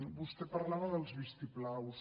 vostè parlava dels vistiplaus